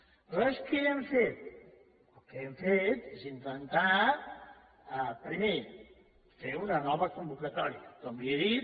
aleshores què hem fet el que hem fet és intentar primer fer una nova convocatòria com li he dit